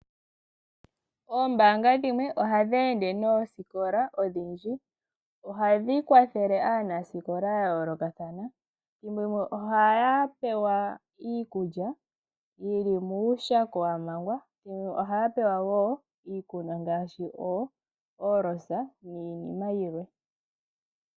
Aaniilonga yomoombanga dhimwe oha yeende noosikola opo ya kwathele aanasikola. Oha ya gandja kaanasikola iikulya niikunwa ngaashi o oolosa niinima yilwe.